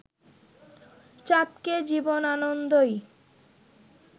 চাঁদকে জীবনানন্দই